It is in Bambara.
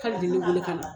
K'ale de bɛ wele ka na